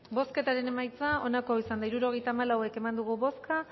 bozketaren emaitza onako izan da hirurogeita hamalau eman dugu bozka